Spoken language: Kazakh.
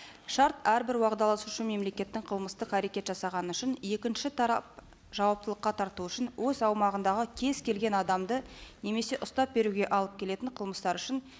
шарт әрбір уағдаласушы мемлекеттің қылмыстық әрекет жасағаны үшін екінші тарап жауаптылыққа тарту үшін өз аумағындағы кез келген адамды немесе ұстап беруге алып келетін қылмыстары үшін